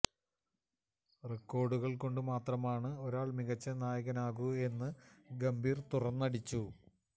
റെക്കോര്ഡുകള് കൊണ്ട് മാത്രമാണ് ഒരാള് മികച്ച നായകനാകൂ എന്നും ഗംഭീര് തുറന്നടിച്ചു